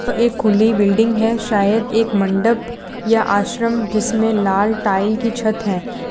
एक खुली बिल्डिंग है शायद एक मंडप या आश्रम जिसमें लाल टाइल की छत है।